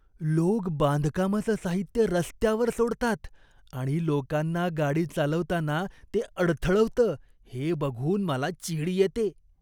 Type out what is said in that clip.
लोक बांधकामाचं साहित्य रस्त्यावर सोडतात आणि लोकांना गाडी चालवताना ते अडथळवतं हे बघून मला चीड येते.